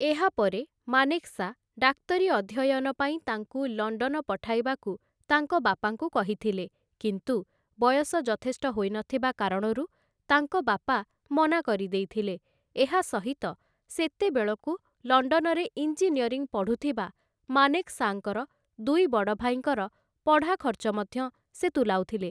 ଏହାପରେ, ମାନେକ୍‌ଶା ଡାକ୍ତରୀ ଅଧ୍ୟୟନ ପାଇଁ ତାଙ୍କୁ ଲଣ୍ଡନ ପଠାଇବାକୁ ତାଙ୍କ ବାପାଙ୍କୁ କହିଥିଲେ, କିନ୍ତୁ ବୟସ ଯଥେଷ୍ଟ ହୋଇନଥିବା କାରଣରୁ ତାଙ୍କ ବାପା ମନା କରିଦେଇଥିଲେ ଏହା ସହିତ, ସେତେବେଳକୁ ଲଣ୍ଡନରେ ଇଞ୍ଜିନିୟରିଂ ପଢ଼ୁଥିବା ମାନେକ୍‌ଶାଙ୍କର ଦୁଇ ବଡ଼ ଭାଇଙ୍କର ପଢ଼ା ଖର୍ଚ୍ଚ ମଧ୍ୟ ସେ ତୁଲାଉଥିଲେ ।